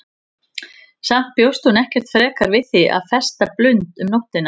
Samt bjóst hún ekkert frekar við því að festa blund um nóttina.